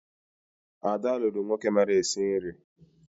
Ada lụrụ nwoke mara esi nri